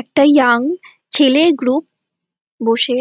একটা ইয়ং ছেলের গ্রুপ বসে